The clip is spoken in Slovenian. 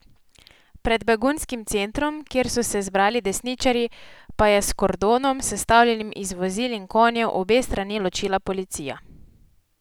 Pred begunskim centrom, kjer so se zbrali desničarji, pa je s kordonom, sestavljenim iz vozil in konjev, obe strani ločila policija.